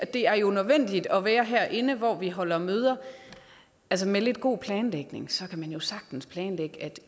er jo nødvendigt at være herinde hvor vi holder møder altså med lidt god planlægning kan man jo sagtens planlægge at